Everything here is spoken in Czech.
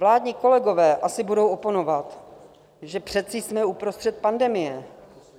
Vládní kolegové asi budou oponovat, že přece jsme uprostřed pandemie.